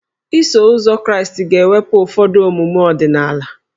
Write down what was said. Iso Ụzọ Kraịst ga-ewepụ ụfọdụ omume ọdịnala